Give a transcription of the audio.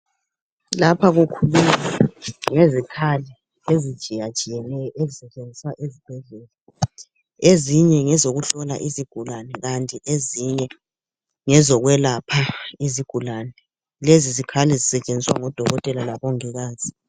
Lapha kukhulunywa ngezikhali ezitshiyatshiyeneyo ezisetshenziswa esibhedlela. Ezinye ngezokuhlola izigulane ezinye ngezokwelapha. Lezizikhali zisetshenziswa ngoDokotela laboMongikazi.